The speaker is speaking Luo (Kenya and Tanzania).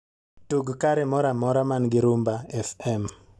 tug kare moro amora man go rumba f.m.